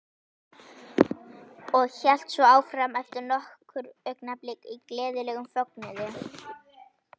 Og hélt svo áfram eftir nokkur augnablik í gleðilegum fögnuði